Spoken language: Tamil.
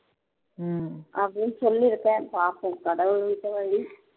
அப்படின்னு சொல்லி இருக்கேன் பார்ப்போம் கடவுள் விட்ட வழி